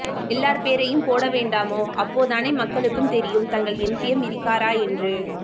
எல்லார்பேறையும்போடவேண்டாமோ அப்போதானே மக்களுக்கு தெரியும் தங்கள் எம்பி யம் இருக்காரா என்று